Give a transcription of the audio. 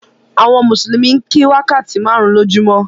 Àwọn mùsùlùmí ń kí wákàtí márùn-ún lójúmọ́.